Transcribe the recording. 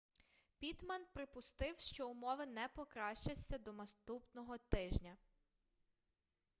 піттман припустив що умови не покращаться до наступного тижня